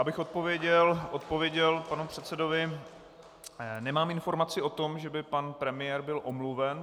Abych odpověděl panu předsedovi - nemám informaci o tom, že by pan premiér byl omluven.